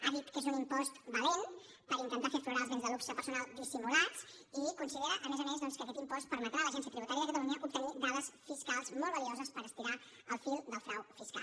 ha dit que és un impost valent per intentar fer aflorar els béns de luxe personal dissimulats i considera a més a més doncs que aquest impost permetrà a l’agència tributària de catalunya obtenir dades fiscals molt valuoses per estirar el fil del frau fiscal